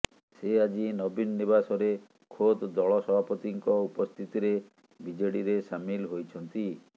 ସେ ଆଜି ନବୀନ ନିବାସରେ ଖୋଦ୍ ଦଳ ସଭାପତିଙ୍କ ଉପସ୍ଥିତିରେ ବିଜେଡିରେ ସାମିଲ ହୋଇଛନ୍ତି